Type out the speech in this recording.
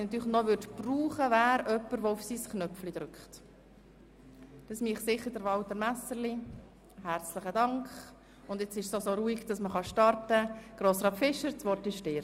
Aufzeigen der Folgen einer Rückführung der öffentlichrechtlichen Regionalkonferenzen in vereinsrechtlich organisierte Planungsregionen.